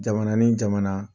Jamana ni jamana